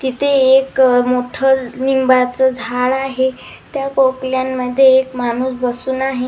तिथे एक मोठं लिंबाचं झाड आहे त्या पोकल्यानमध्ये एक माणूस बसून आहे.